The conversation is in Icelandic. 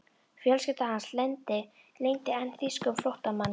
Fjölskylda hans leyndi enn þýskum flóttamanni.